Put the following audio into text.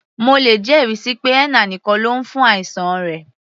Mo lè jẹ́ ẹ̀rí síi pé henna nìkan ló lò fún àìsàn rẹ̀.